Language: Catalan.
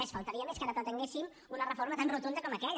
només faltaria que ara pretenguéssim una reforma tan rotunda com aquella